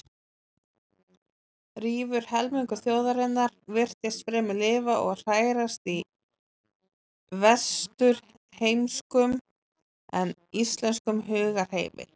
Rífur helmingur þjóðarinnar virtist fremur lifa og hrærast í vesturheimskum en íslenskum hugarheimi.